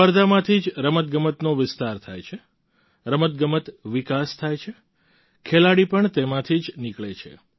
સ્પર્ધામાંથી જ રમતગમતનો વિસ્તાર થાય છે રમતગમત વિકાસ થાય છે ખેલાડી પણ તેમાંથી જ નીકળે છે